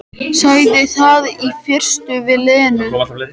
Sagði það í fyrstu við Lenu.